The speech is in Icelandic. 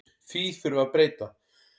Því þurfi að breyta.